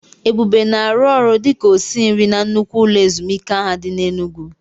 Ebube na-arụ ọrụ dị ka osinri na nnukwu ụlọ ezumike ahụ dị n'Enugwu.